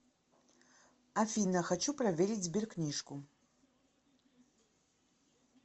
афина хочу проверить сберкнижку